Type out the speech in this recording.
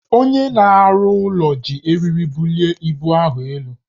Onye na-arụ ụlọ ji eriri bulie ibu ahụ elu